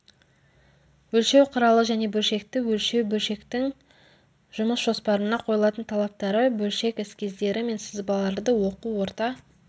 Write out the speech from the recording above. өлшеу құралы және бөлшекті өлшеу бөлшектің жұмыс жоспарына қойылатын талаптары бөлшек эскиздері мен сызбаларды оқу орта